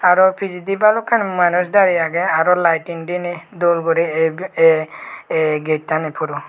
aro pijidi balokkani manuj dare agey arw lighing dine dol guri ey ey ey get tani puro.